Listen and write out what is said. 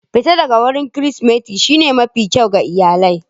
Fitar Kirsimeti shine mafi kyau ga iyalai.